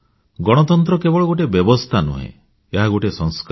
ଗଣତନ୍ତ୍ର କେବଳ ଗୋଟିଏ ବ୍ୟବସ୍ଥା ନୁହେଁ ଏହା ଗୋଟିଏ ସଂସ୍କାର